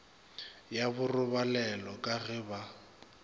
ya borobalelo ka ge ba